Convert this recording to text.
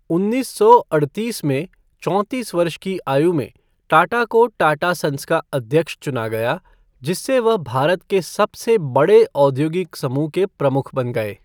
उन्नीस सौ अड़तीस में, चौंतीस वर्ष की आयु में, टाटा को टाटा सन्स का अध्यक्ष चुना गया, जिससे वह भारत के सबसे बड़े औद्योगिक समूह के प्रमुख बन गए।